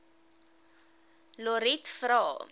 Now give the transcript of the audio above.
lotriet vra